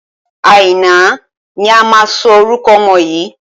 Àìná ni a máa sọ orúkọ ọmọ yìí.